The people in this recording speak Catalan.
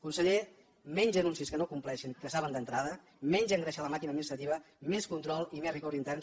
conseller menys anuncis que no compleixin que saben d’entrada menys engreixar la màquina administrativa més control i més rigor intern